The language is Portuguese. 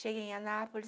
Cheguei em Anápolis.